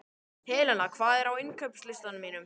Helena, hvað er á innkaupalistanum mínum?